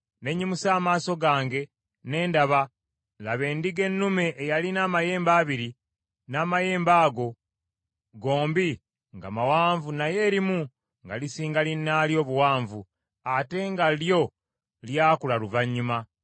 Ne nnyimusa amaaso gange ne ndaba, laba, endiga ennume eyalina amayembe abiri, n’amayembe ago gombi nga mawanvu naye erimu nga lisinga linnaalyo obuwanvu, ate nga lyo lyakula luvannyuma.